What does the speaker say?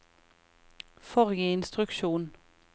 forrige instruksjon